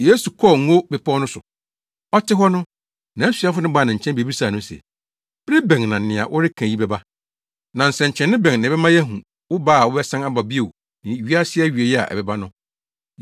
Yesu kɔɔ Ngo Bepɔw no so. Ɔte hɔ no, nʼasuafo no baa ne nkyɛn bebisaa no se, “Bere bɛn na nea woreka yi bɛba? Na nsɛnkyerɛnne bɛn na ɛbɛma yɛahu wo ba a wobɛsan aba bio no ne wiase awiei a ɛbɛba no?”